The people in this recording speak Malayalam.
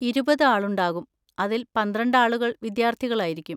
ഇരുപത് ആളുകളുണ്ടാകും, അതിൽ പന്ത്രണ്ട് ആളുകൾ വിദ്യാർത്ഥികളായിരിക്കും.